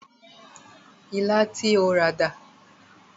Ilá tí o rà dà?